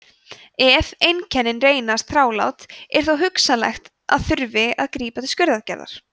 ef einkennin reynast þrálát er þó hugsanlegt að þurfi að grípa til skurðaðgerðar